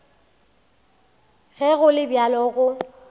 ge go le bjalo go